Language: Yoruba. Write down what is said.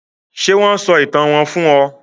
Ṣé wón sọ ìtàn wón fún ọ?